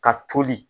Ka toli